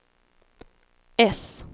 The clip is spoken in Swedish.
S